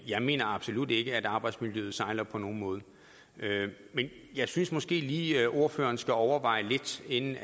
jeg mener absolut ikke at arbejdsmiljøet sejler ikke på nogen måde men jeg synes måske lige at det ordføreren skal overveje lidt inden